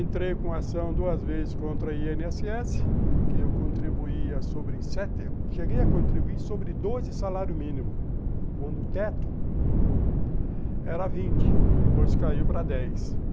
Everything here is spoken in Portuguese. Entrei com ação duas vezes contra a i ene esse esse, porque eu contribuía sobre sete... Cheguei a contribuir sobre doze salário mínimo, quando o teto era vinte, depois caiu para dez.